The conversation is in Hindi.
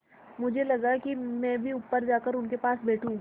मुझे लगा कि मैं भी ऊपर जाकर उनके पास बैठूँ